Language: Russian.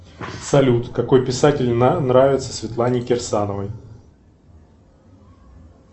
салют какой писатель нравится светлане кирсановой